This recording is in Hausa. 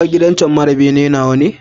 Kaga gidan cen mara bene nawane?